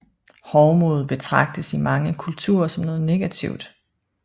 Hovmod betragtes i mange kulturer som noget negativt